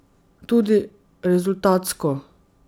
Tudi rezultatsko.